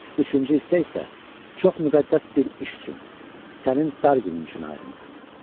Üçüncü hissə isə çox müqəddəs bir iş üçün sənin dar günün üçün ayrılıb."